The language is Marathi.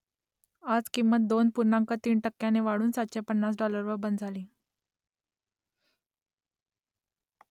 आज किंमत दोन पूर्णांक तीन टक्क्यांनी वाढून सातशे पन्नास डॉलरवर बंद झाली